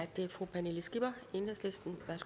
dernæst